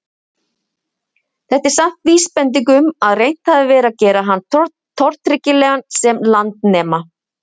Þetta er samt vísbending um að reynt hafi verið að gera hann tortryggilegan sem landnema.